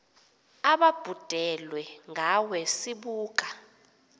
ababhudelwe ngawe sibuka